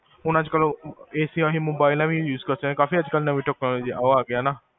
ਹੁਣ ਅੱਜ ਕਲ, AC ਆਹੀ mobile ਨਾਲ ਵੀ use ਕਰ ਸਕਦੇ ਹੋ ਚਾਹੇ, ਕਾਫੀ ਅੱਜਕਲ ਨਵੇ ਓਹ ਆਗਿਆ ਨਾ